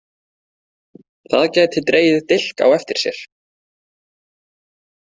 Það gæti dregið dilk á eftir sér.